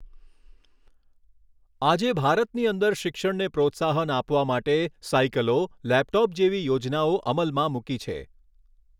આજે ભારતની અંદર શિક્ષણને પ્રોત્સાહન આપવા માટે સાઇકલો લૅપટૉપ જેવી યોજનાઓ અમલમાં મૂકી છે